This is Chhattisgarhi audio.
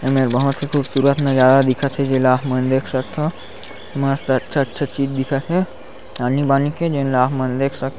एमेर बहुत ही खूबसूरत नज़ारा दिखत हे जेला आंख मन देख सकते हो मस्त अच्छा-अच्छा चीज़ दिखत हेआनी बानी के जेला आँख मन देख सकते हे।